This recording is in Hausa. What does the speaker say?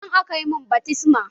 A nan aka mun baftisma.